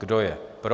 Kdo je pro?